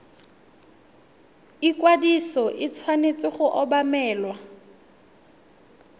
ikwadiso e tshwanetse go obamelwa